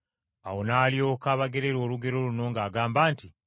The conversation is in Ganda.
Yesu n’alyoka abagerera olugero luno ng’agamba nti,